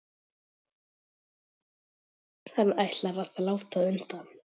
Hann ætlar að láta undan.